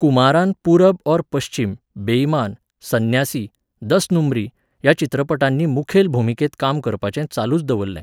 कुमारान पूरब और पश्चीम, बेइमान, सन्यासी, दस नंबरी ह्या चित्रपटांनी मुखेल भुमिकेंत काम करपाचें चालूच दवरलें.